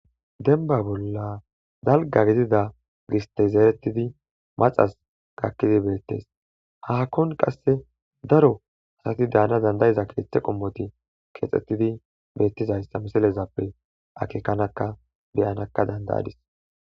denba bolla dalga gidiza gistey zeeretidi maxas gakkidi beettes haakkon qasse daro asati daana dandayiza keeththe qommoti keexxettidi beettizayssa misilezappe akekanaka beyanakka dandayadis